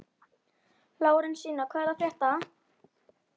Lárensína, hvað er að frétta?